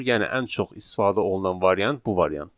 Yəni ən çox istifadə olunan variant bu variantdır.